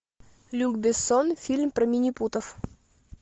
люк бессон фильм про минипутов